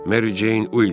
Mary Jane Wilks.